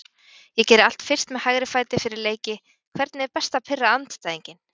Ég geri allt fyrst með hægri fæti fyrir leiki Hvernig er best að pirra andstæðinginn?